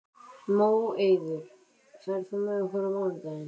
Móeiður, ferð þú með okkur á mánudaginn?